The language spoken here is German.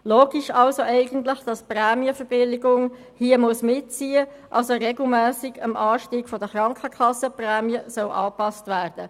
Logisch wäre also eigentlich, dass hier die Prämienverbilligungen mitziehen müssen und regelmässig am Anstieg der Krankenkassenprämien angepasst werden.